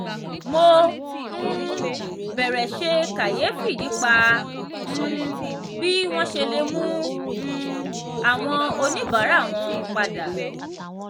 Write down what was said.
mo um bẹ̀rẹ̀ ṣe kàyéfì nípa um bí wọ́n ṣe lè mú um àwọn oníbàárà wọn padà.